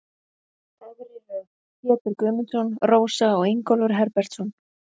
Efri röð: Pétur Guðmundsson, Rósa og Ingólfur Herbertsson.